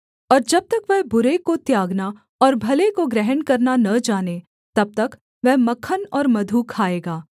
और जब तक वह बुरे को त्यागना और भले को ग्रहण करना न जाने तब तक वह मक्खन और मधु खाएगा